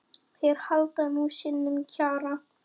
Þeir halda sínum kjarna.